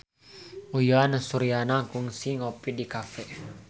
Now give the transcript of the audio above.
Uyan Suryana kungsi ngopi di cafe